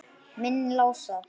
Minn Lása?